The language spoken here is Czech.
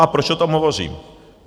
A proč o tom hovořím?